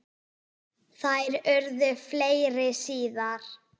Þær urðu fleiri síðar.